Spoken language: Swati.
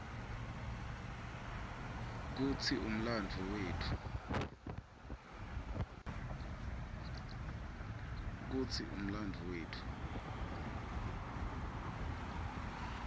kutsi umlandvo wetfu